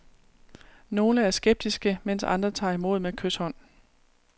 Nogle er skeptiske, mens andre tager imod med kyshånd.